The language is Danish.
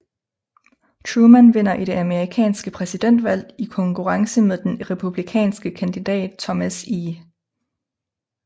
Truman vinder det amerikanske præsidentvalg i konkurrence med den republikanske kandidat Thomas E